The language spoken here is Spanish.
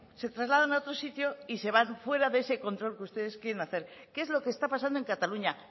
se trasladan a otro sitio y se van fuera de ese control que ustedes quieren hacer que es lo que está pasando en cataluña